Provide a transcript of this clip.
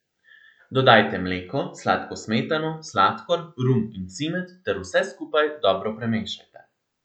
Dodajte mleko, sladko smetano, sladkor, rum in cimet, ter vse skupaj dobro premešajte.